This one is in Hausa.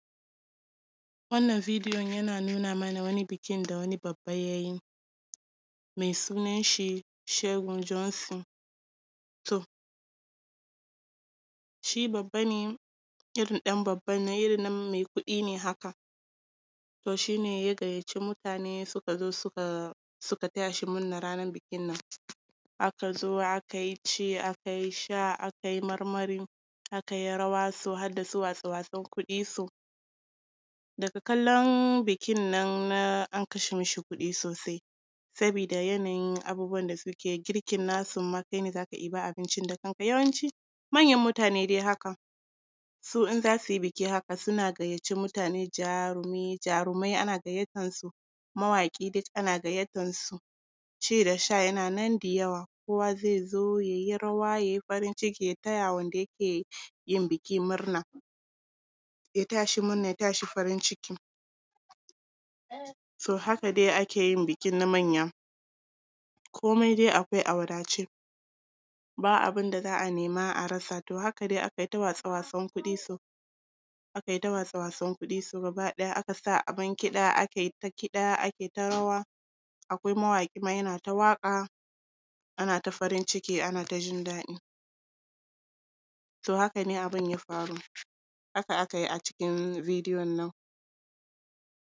Wannan videon yana nuna mana wani bukin da wani babba ya yi mai sunanshi Seun Johnson. To, shi babba ne, irin ɗan babban nan, irin nan mai kuɗi ne haka. To shi ne ya gayyaci mutane, suka zo, suka… suka taya shi murnar ranar bukin nan, aka zo, aka yi ci, aka yi sha, aka yi marmari, aka yi rawa, su har da su waste-watsen kuɗi, so. Daga kallon bukin nan na… an kashe mishi kuɗi sosai sabida yanayin abubuwan da suke yi, girkin nasu ma, kai ne za ka ɗiba abincin da kanka, yawanci manyan mutane dai haka, su in za su yi buki haka, suna gayyaci mutane, jarumi, jarumai ana gayyatansu, mawaƙi duk ana gayyatansu ci da sha yana nan da yawa, kowa zai zo ya yi rawa, ya yi farn ciki, ya taya wanda yake yin buki murna, ya taya shi murna, ya taya shi murna, ya taya shi farin ciki. So, haka dai ake yin bukin na manya, komai dai akwai a wadace, ba abin da za a nema a rasa. To a haka dai aka yita waste-watsen kuɗi, so. Aka yi ta waste-watsen kuɗi, so gaba ɗaya aka sa abin kiɗa, aka yi ta kiɗa, aka yi ta rawa, akwai mawaƙi ma, yana ta waƙa, ana ta farin ciki, ana jin daɗi. To haka ne abin ya faru. Haka aka yi a cikin videon nan.